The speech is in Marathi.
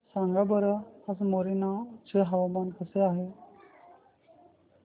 सांगा बरं आज मोरेना चे हवामान कसे आहे